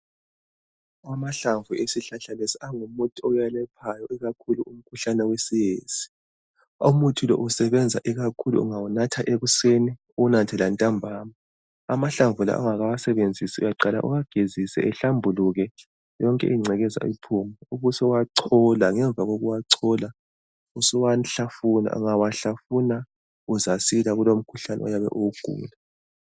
Amahlamvu esihlahla lesi angumuthi owelaphayo. Ikakhulu umkhuhlane wesiyezi. Umuthi lo usebenza ikakhulu, ungawunatha ekuseni. Uwanathe lantambama. Amahlamvu la ungakawasebenzisi, uyaqala uwagezise ehlambuluke. Yonke ingcekeza iphume. Ubusuwachola. Ngemva kokuwachola, usuwahlafuna. Ungawahlafuna, uyasila kulo umkhuhlane oyabe uwugula.